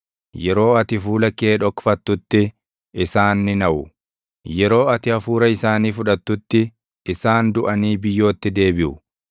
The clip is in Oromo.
Yeroo ati fuula kee dhokfattutti, isaan ni naʼu; yeroo ati hafuura isaanii fudhattutti, isaan duʼanii biyyootti deebiʼu.